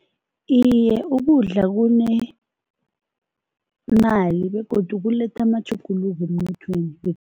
Iye, ukudla kunemali begodu kuletha amatjhuguluko emnothweni.